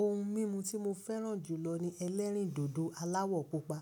Ohun mímu tí mo fẹ́ràn jùlọ ni ẹlẹ́rìndòdò aláwọ̀ pupa.